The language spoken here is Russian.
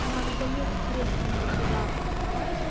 заедь с креслом вот туда под кровать